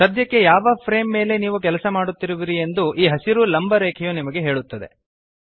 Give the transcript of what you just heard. ಸದ್ಯಕ್ಕೆ ಯಾವ ಫ್ರೇಮ್ ಮೇಲೆ ನೀವು ಕೆಲಸ ಮಾಡುತ್ತಿರುವಿರಿ ಎಂದು ಈ ಹಸಿರು ಲಂಬ ರೇಖೆಯು ನಿಮಗೆ ಹೇಳುತ್ತದೆ